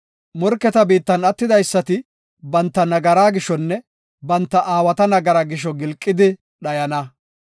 Morketa biittan attidaysati banta nagaraa gishonne banta aawata nagaraa gisho gilqidi dhayana.